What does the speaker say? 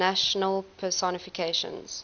national personifications